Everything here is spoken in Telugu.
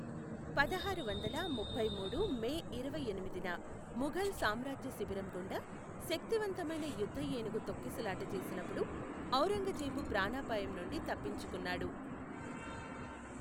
పదహారు వందల ముప్పై మూడు మే ఇరవై ఎనిమిదిన, ముఘల్ సామ్రాజ్య శిబిరం గుండా శక్తివంతమైన యుద్ధ ఏనుగు తొక్కిసలాట చేసినప్పుడు, ఔరంగజేబు ప్రాణాపాయం నుండి తప్పించుకున్నాడు.